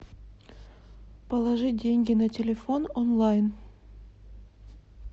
положить деньги на телефон онлайн